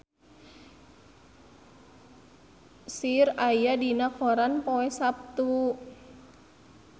Cher aya dina koran poe Saptu